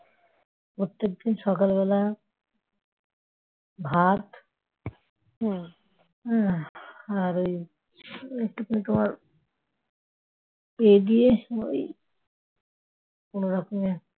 প্রত্যেকদিন সকালবেলা ভাত আর ওই এই দিয়ে ওই কোনরকমে